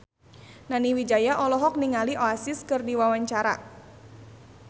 Nani Wijaya olohok ningali Oasis keur diwawancara